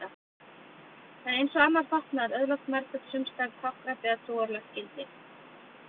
En eins og annar fatnaður öðlast nærföt sums staðar táknrænt eða trúarlegt gildi.